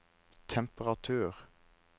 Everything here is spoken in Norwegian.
temperatur